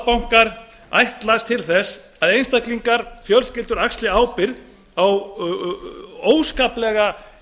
alþjóðabankar ætlast til þess að einstaklingar og fjölskyldur axli ábyrgð á óskaplega